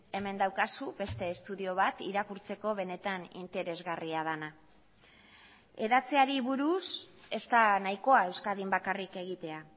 hemen daukazu beste estudio bat irakurtzeko benetan interesgarria dena hedatzeari buruz ez da nahikoa euskadin bakarrik egitea